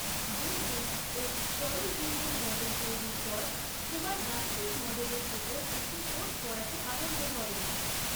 বুদ্বুদ ও তরলবিন্দুর মডেল তৈরীর পর কুমার গাণিতিক মডেলের ওপর একটি কোর্স পড়াতে আরম্ভ করেন।